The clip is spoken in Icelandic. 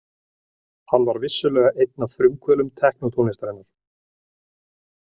Hann var vissulega einn af frumkvöðlum teknótónlistarinnar.